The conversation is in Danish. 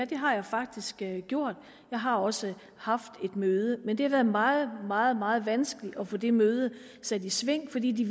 det har jeg faktisk gjort jeg har også haft et møde men det har været meget meget meget vanskeligt at få det møde sat i sving fordi de